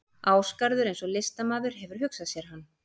Ásgarður eins og listamaður hefur hugsað sér hann.